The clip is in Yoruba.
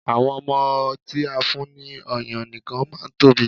Àwọn ọmọ tí a fún ní ọyàn nìkan máa ń tóbi.